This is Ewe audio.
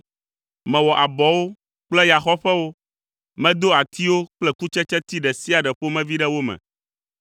mewɔ abɔwo kple yaxɔƒewo, medo atiwo kple kutsetseti ɖe sia ɖe ƒomevi ɖe wo me.